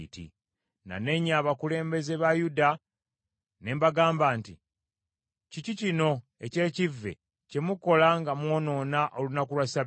Nanenya abakulembeze ba Yuda ne mbagamba nti, “Kiki kino eky’ekivve kye mukola nga mwonoona olunaku lwa Ssabbiiti?